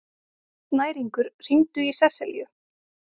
Snæringur, hringdu í Seselíu.